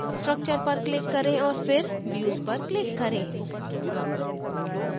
structure पर click करें और फिर views पर click करें